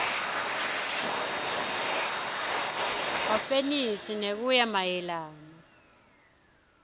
wefenisi ngekuya mayelana